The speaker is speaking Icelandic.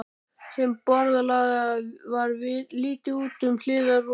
Þeim borðalagða var litið út um hliðarrúðu.